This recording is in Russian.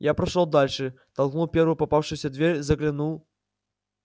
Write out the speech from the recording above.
я прошёл дальше толкнул первую попавшуюся дверь заглянул